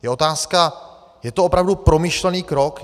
Je otázka - je to opravdu promyšlený krok?